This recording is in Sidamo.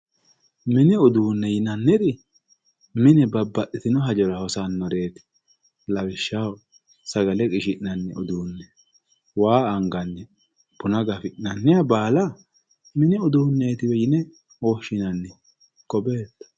mini uduunne yinanniri mine babbaxitino hajora hosannoreeti lawishshaho sagale qishi'nanni uduunne waa anganniha buna gafi'nanniha baala mini uduunneetiwe yine woshshinanni ko beetto.